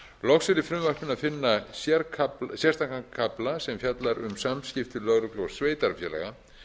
loks er í frumvarpinu að finna sérstakan kafla sem fjallar um samskipti lögreglu og sveitarfélaga